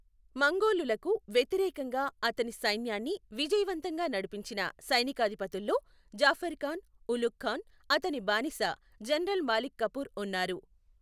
మంగోలులకు వ్యతిరేకంగా అతని సైన్యాన్ని విజయవంతంగా నడిపించిన సైనికాదిపతుల్లో జాఫర్ ఖాన్, ఉలుగ్ ఖాన్, అతని బానిస జనరల్ మాలిక్ కఫూర్ ఉన్నారు.